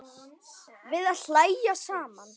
Við að hlæja saman.